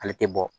Ale tɛ bɔ